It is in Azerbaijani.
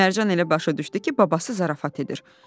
Mərcan elə başa düşdü ki, babası zarafat edir.